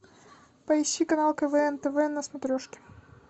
поищи канал квн тв на смотрешке